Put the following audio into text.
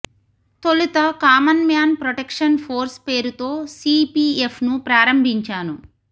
తొలుత common man protection force పేరుతో CPF ను ప్రారంభించాను